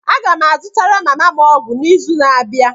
Aga m azụtara mama m ọgwụ n'izu na-abịa